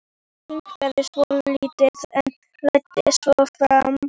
Hann hikaði svolítið en læddist svo fram.